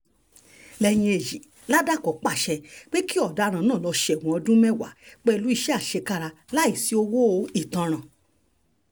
lẹ́yìn èyí làdájọ́ pàṣẹ pé kí ọ̀daràn yìí lọ́ọ́ sẹ́wọ̀n ọdún mẹ́wàá pẹ̀lú iṣẹ́ àṣekára láì sí owó ìtanràn